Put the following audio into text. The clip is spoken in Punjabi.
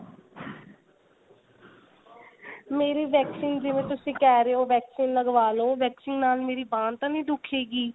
ਮੇਰੀ vaccine ਜਿਵੇਂ ਤੁਸੀਂ ਕਿਹ ਰਹੇ ਹੋ vaccine ਲਗਵਾ ਲੋ vaccine ਨਾਲ ਮੇਰੀ ਬਾਂਹ ਤਾਂ ਨਹੀਂ ਦੁਖੇਗੀ